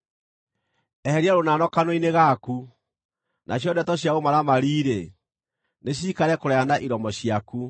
Eheria rũnano kanua-inĩ gaku; nacio ndeto cia ũmaramari-rĩ, nĩciikare kũraya na iromo ciaku.